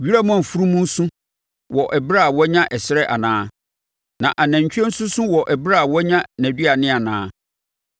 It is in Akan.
Wiram afunumu su wɔ ɛberɛ a wanya ɛserɛ anaa, na nantwie nso su wɔ ɛberɛ a wanya nʼaduane anaa?